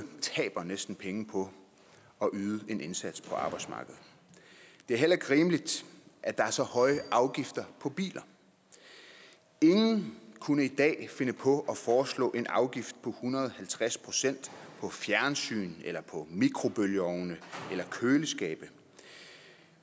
taber næsten penge på at yde en indsats på arbejdsmarkedet det er heller ikke rimeligt at der er så høje afgifter på biler ingen kunne i dag finde på at foreslå en afgift på hundrede og halvtreds procent på fjernsyn mikrobølgeovne eller køleskabe